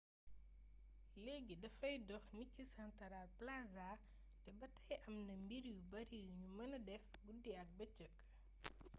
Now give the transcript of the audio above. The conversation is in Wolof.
léegi dafay dox niki santaral plaza te ba tey am na mbir yu bari yuñu mëna def guddi ak bëcëk